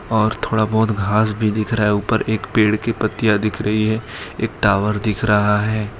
और थोड़ा बोहोत घास भी दिख रहा है। ऊपर एक पेड़ की पत्तियां दिख रही है। एक टावर दिख रहा है।